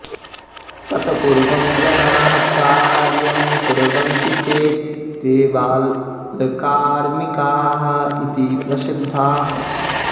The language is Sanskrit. तत्पूर्वं जनाः कार्यं कुर्वन्ति चेत् ते बालकार्मिकाः इति प्रसिध्दाः